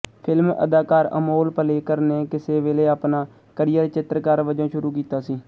film ਅਦਾਕਾਰ ਅਮੋਲ ਪਾਲੇਕਰ ਨੇ ਕਿਸੇ ਵੇਲੇ ਆਪਣਾ ਕਰੀਅਰ ਚਿੱਤਰਕਾਰ ਵਜੋਂ ਸ਼ੁਰੂ ਕੀਤਾ ਸੀ